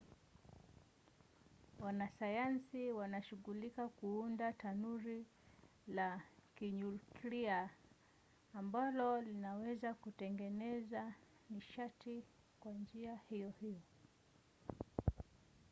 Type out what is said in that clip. wanasayansi wanashugulika kuunda tanuri la kinyuklia ambalo linaweza kutengeneza nishati kwa njia hiyo hiyo